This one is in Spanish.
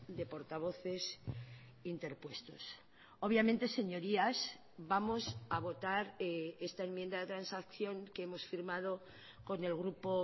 de portavoces interpuestos obviamente señorías vamos a votar esta enmienda de transacción que hemos firmado con el grupo